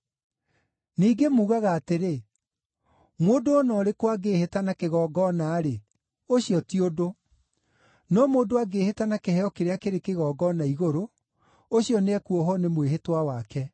Ningĩ muugaga atĩrĩ, ‘Mũndũ o na ũrĩkũ angĩĩhĩta na kĩgongona-rĩ, ũcio ti ũndũ; no mũndũ angĩĩhĩta na kĩheo kĩrĩa kĩrĩ kĩgongona-igũrũ, ũcio nĩekuohwo nĩ mwĩhĩtwa wake.’